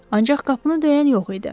Ancaq qapını döyən yox idi.